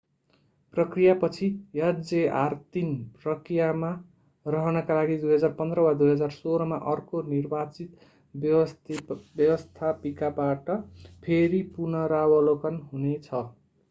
प्रक्रियापछि hjr-3 प्रक्रियामा रहनका लागि 2015 वा 2016 मा अर्को निर्वाचित व्यवस्थापिकाबाट फेरि पुनरावलोकन हुने छ